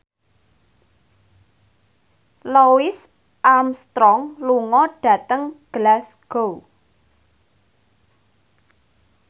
Louis Armstrong lunga dhateng Glasgow